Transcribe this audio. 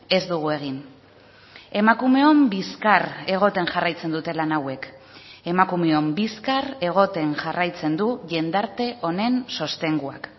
ez dugu egin emakumeon bizkar egoten jarraitzen dute lan hauek emakumeon bizkar egoten jarraitzen du jendarte honen sostenguak